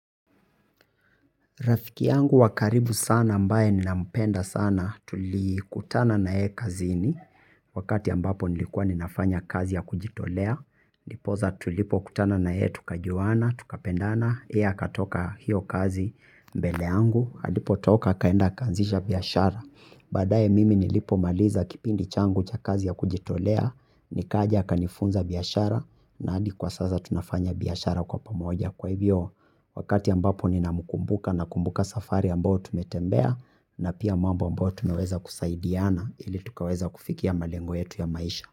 Rafiki yangu wa karibu sana ambaye ninampenda sana, tulikutana na yeye kazini, wakati ambapo nilikuwa ninafanya kazi ya kujitolea, ndiposa tulipokutana na yeye, tukajuana, tukapendana, yeye akatoka hiyo kazi mbele yangu, alipotoka akaenda akaanzisha biashara, baadaye mimi nilipomaliza kipindi changu cha kazi ya kujitolea nikaja, akanifunza biashara, na hadi kwa sasa tunafanya biashara kwa pamoja kwa hivyo, wakati ambapo ninamkumbuka nakumbuka safari ambayo tumetembea. Na pia mambo ambayo tumeweza kusaidiana ili tukaweza kufikia malengo yetu ya maisha.